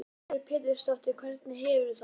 Lillý Valgerður Pétursdóttir: Hvernig hefurðu það?